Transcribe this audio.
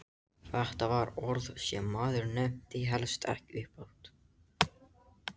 Þetta var orð sem maður nefndi helst ekki upphátt!